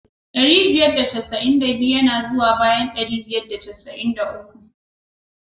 Dari biyar da casa'in da biyu ya na zuwa bayan ɗari biyar da casa'in da uku.